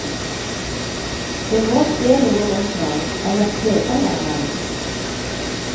Det må skje noe rundt meg, ellers kjeder jeg meg.